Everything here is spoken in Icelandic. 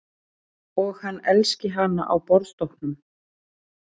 Og hann elski hana á borðstokknum.